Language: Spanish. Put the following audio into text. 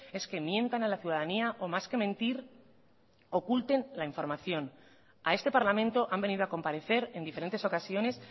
es que mientan a la ciudadanía o más que mentir oculten la información a este parlamento han venido a comparecer en diferentes ocasiones